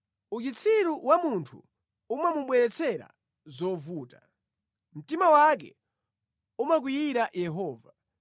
Uchitsiru wa munthu umamubweretsera zovuta, mtima wake umakwiyira Yehova.